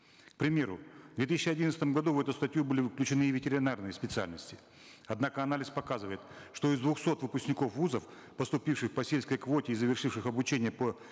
к примеру в две тысячи одиннадцатом году в эту статью были включены и ветеринарные специальности однако анализ показывает что из двухсот выпускников вузов поступивших по сельской квоте и завершивших обучение по